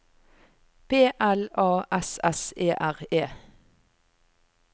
P L A S S E R E